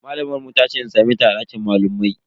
Malamar mu tace in same ta a dakin malamai.